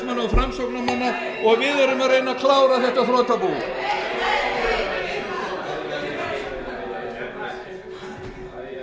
íslandi er í boði sjálfstæðismanna og framsóknarmanna og við erum að reyna að ganga frá þessu þrotabúi